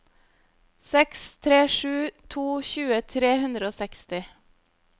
seks tre sju to tjue tre hundre og seksti